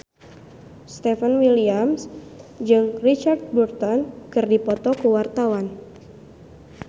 Stefan William jeung Richard Burton keur dipoto ku wartawan